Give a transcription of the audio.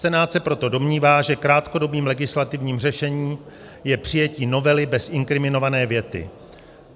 Senát se proto domnívá, že krátkodobým legislativním řešením je přijetí novely bez inkriminované věty.